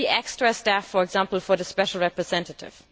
Will there be extra staff for example for the Special Representative?